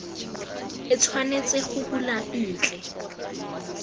e tshwanetseng go bulwa ntle